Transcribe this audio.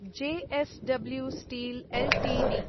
JSW steel Ltd